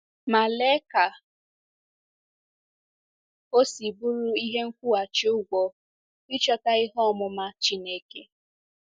Ma lee ka o si bụrụ ihe nkwụghachi ụgwọ ịchọta "ihe ọmụma Chineke!"